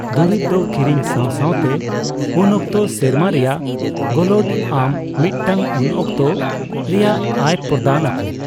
ᱫᱩᱨᱤᱵ ᱫᱚ ᱠᱤᱨᱤᱧ ᱥᱟᱣ ᱥᱟᱣ ᱛᱮ ᱩᱱᱠᱚᱛᱚ ᱥᱮᱨᱢᱟ ᱨᱮᱭᱟᱜ ᱜᱳᱞᱳᱰ ᱟᱢ ᱢᱤᱫᱴᱟᱝᱩᱱᱚᱠᱛ ᱨᱮᱭᱟᱜ ᱟᱭ ᱯᱨᱚᱫᱟᱱ ᱟᱠᱚ ᱾